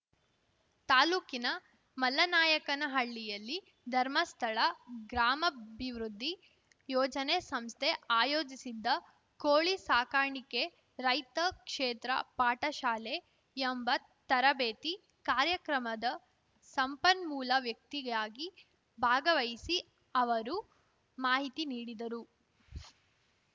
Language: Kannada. ತಾಲೂಕಿನ ಮಲ್ಲನಾಯಕನಹಳ್ಳಿಯಲ್ಲಿ ಧರ್ಮಸ್ಥಳ ಗ್ರಾಮಾಭಿವೃದ್ಧಿ ಯೋಜನೆ ಸಂಸ್ಥೆ ಆಯೋಜಿಸಿದ್ದ ಕೋಳಿ ಸಾಕಾಣಿಕೆ ರೈತ ಕ್ಷೇತ್ರ ಪಾಠಶಾಲೆ ಎಂಬ ತರಬೇತಿ ಕಾರ್ಯಕ್ರಮದ ಸಂಪನ್ಮೂಲ ವ್ಯಕ್ತಿಯಾಗಿ ಭಾಗವಹಿಸಿ ಅವರು ಮಾಹಿತಿ ನೀಡಿದರು